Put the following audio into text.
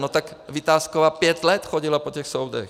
No tak Vitásková pět let chodila po těch soudech.